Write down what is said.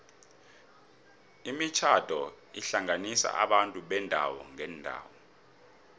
imitjhado ihlanganisa abantu beendawo ngeendawo